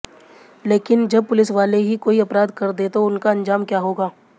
लेकिन जब पुलिसवाले ही कोई अपराध कर दें तो उनका अंजाम क्या होगा